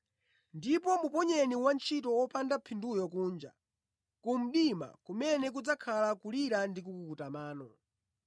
Ndipo muponyeni wantchito wopanda phinduyu kunja, ku mdima kumene kudzakhala kulira ndi kukukuta mano.’ ”